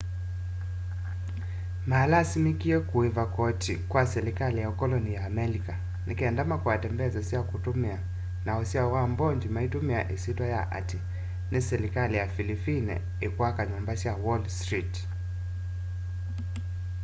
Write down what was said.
manalasimikie kuiva koti kwa silikali ya ukoloni ya amelika nikenda makwate mbesa sya kutumia na usyao wa mbondi maitumia isyitwa ya ati ni silikali ya philippine ikwaka nyumba sya wall street